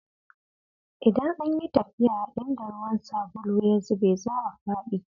Idan an yi tafiya a inda ruwan sabulu ya zube, za a fadi.